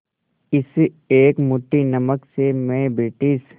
इस एक मुट्ठी नमक से मैं ब्रिटिश